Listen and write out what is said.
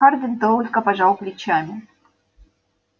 хардин только пожал плечами